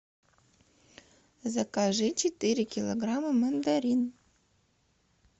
закажи четыре килограмма мандарин